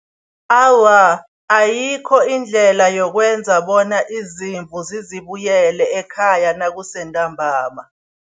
Awa, ayikho indlela yokwenza bona izimvu zizibuyele ekhaya nakusentambama.